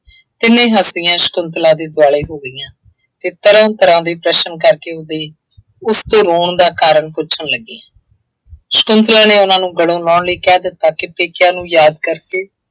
ਤਿੰਨੇ ਹੱਸਦੀਆਂ ਸ਼ੰਕੁਤਲਾ ਦੇ ਦੁਆਲੇ ਹੋ ਗਈਆਂ ਅਤੇ ਤਰ੍ਹਾਂ ਤਰ੍ਹਾਂ ਦੇ ਪ੍ਰਸ਼ਨ ਕਰਕੇ ਉਹਦੇ ਉਸ ਤੋਂ ਰੋਣ ਦਾ ਕਾਰਨ ਪੁੱਛਣ ਲੱਗੀਆਂ। ਸ਼ੰਕੁਤਲਾ ਨੇ ਉਹਨਾ ਨੂੰ ਗੱਲੋਂ ਲਾਹੁਣ ਲਈ ਕਹਿ ਦਿੱਤਾ ਕਿ ਪੇਕਿਆਂ ਨੂੰ ਯਾਦ ਕਰਕੇ